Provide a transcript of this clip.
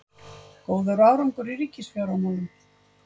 Góður árangur í ríkisfjármálum